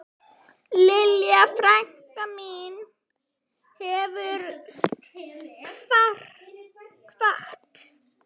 Lilja frænka mín hefur kvatt.